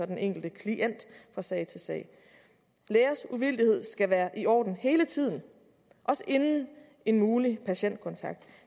den enkelte klient fra sag til sag lægers uvildighed skal være i orden hele tiden også inden en mulig patientkontakt